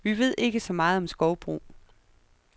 Vi ved ikke så meget om skovbrug.